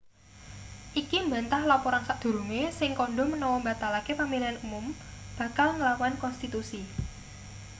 iki mbantah laporan sadurunge sing kandha menawa mbatalake pamilihan mum bakal nglawan konstitusi